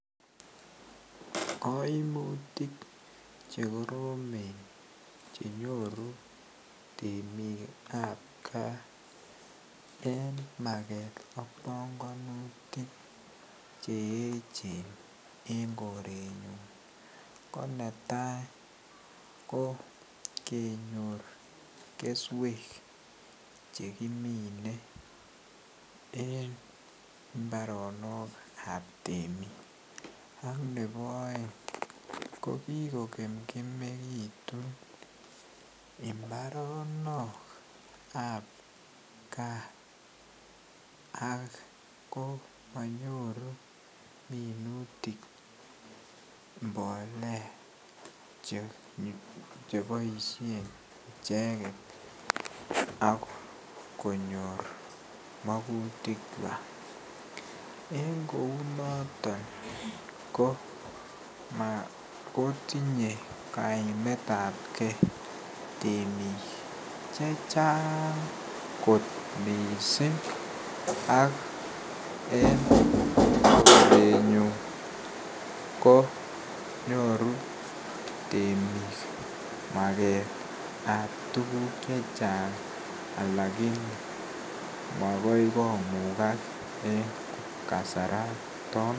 Koimutik chekoromen chenyoru temikab gaa en maket ak bongonutik che echen en korenyun, ko netai koo kenyor keswek chekimine en mbaronokab temik .ak ne bo aeng kokiko kemkemekitu mbaronok ab gaa akomonyoru minutik mbolea cheboisien icheket akonyor magutikchwak en kou noton koma kotinye kaimetab gee temik chechang kot miissing ak en korenyun ko nyoru temik maketrab tuguk chechang alakini makoi komukak en kasarato.